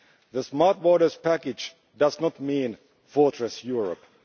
The Smart Borders Package does not mean Fortress Europe'.